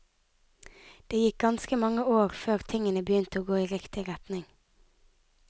Det gikk ganske mange år før tingene begynte å gå i riktig retning.